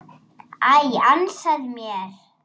Æ, ansaðu mér.